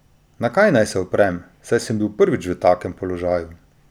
Na kaj naj se oprem, saj sem bil prvič v takem položaju?